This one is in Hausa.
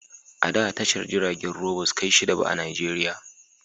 A da tashar jiragen ruwa ba su kai shida ba a Najeriya